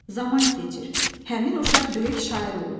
Zaman keçir, həmin uşaq böyük şair olur.